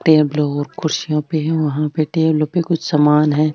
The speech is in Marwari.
टेबलो और खुर्सिया पे वहां टेबल पे कुछ सामान है।